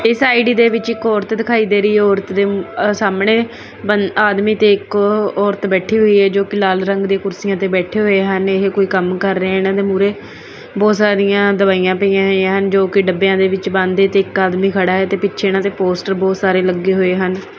ਇਸ ਆਈ_ਡੀ ਦੇ ਵਿੱਚ ਔਰਤ ਦਿਖਾਈ ਦੇ ਰਹੀ ਹੈ ਔਰਤ ਦੇ ਸਾਹਮਣੇ ਆਦਮੀ ਤੇ ਇਕ ਔਰਤ ਬੈਠੀ ਹੋਈ ਹੈ ਜੋ ਕੀ ਲਾਲ ਰੰਗ ਦੀ ਕੁਰਸੀਆਂ ਤੇ ਬੈਠੇ ਹੋਏ ਹਨ ਇਹ ਕੋਈ ਕੰਮ ਕਰ ਰਹੇ ਇਹਨਾਂ ਦੇ ਮੂਹਰੇ ਬਹੁਤ ਸਾਰੀਆਂ ਦਵਾਈਆਂ ਪਈਆਂ ਜੋ ਕਿ ਡੱਬਿਆਂ ਨੇ ਵਿੱਚ ਬੰਦ ਹੈ ਤੇ ਆਦਮੀ ਖੜਾ ਹੈ ਤੇ ਪਿੱਛੇ ਇਹਨਾਂ ਤੇ ਪੋਸਟਰ ਬਹੁਤ ਸਾਰੇ ਲੱਗੇ ਹੋਏ ਹਨ।